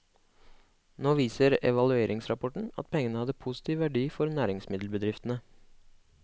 Nå viser evalueringsrapporten at pengene hadde positiv verdi for næringsmiddelbedriftene.